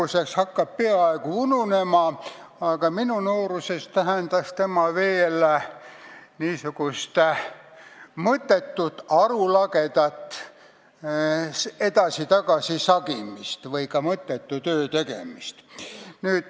See hakkab praeguseks ununema, aga minu nooruses tähendas see mõttetut, arulagedat edasi-tagasi sagimist või ka mõttetu töö tegemist.